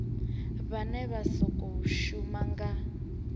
vhane vha khou shuma nga